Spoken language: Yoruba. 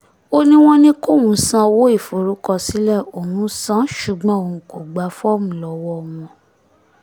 ó ní wọ́n ní kóun sanwó ìforúkọsílẹ̀ òun san án ṣùgbọ́n òun kò gba fọ́ọ̀mù lọ́wọ́ wọn